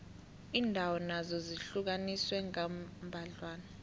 iindawo nazo zihlukaniswe kambadlwana